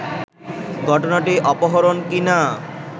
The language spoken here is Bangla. ঘটনাটি অপরহণ কি-না